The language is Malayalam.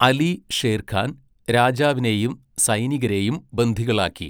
അലി ഷേർഖാൻ രാജാവിനെയും സൈനികരെയും ബന്ദികളാക്കി.